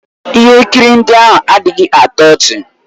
Ihe nkiri ndị ahụ adịghị atọ ọchị